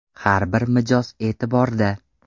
Har bir mijoz e’tiborda!